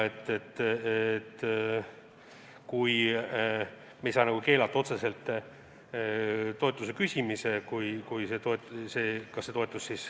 Nii me ei saa otseselt toetuse küsimist keelata.